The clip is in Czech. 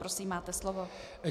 Prosím, máte slovo.